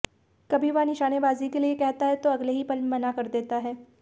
कभी वह निशानेबाजी के लिए कहता है तो अगले ही पल मना कर देता है